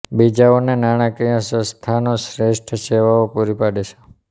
બીજાઓને નાણાકીય સંસ્થાનો શ્રેષ્ઠ સેવાઓ પૂરી પાડે છે